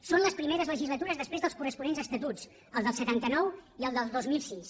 són les primeres legislatures després dels corresponents estatuts el del setanta nou i el del dos mil sis